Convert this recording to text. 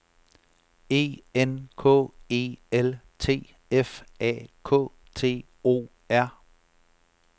E N K E L T F A K T O R